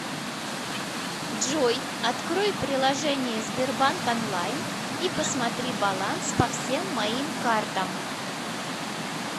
джой открой приложение сбербанк онлайн и посмотри баланс по всем моим картам